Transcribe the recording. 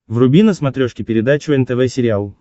вруби на смотрешке передачу нтв сериал